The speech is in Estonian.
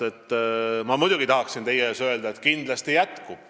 Ma muidugi tahaksin teie ees öelda, et kindlasti jätkub.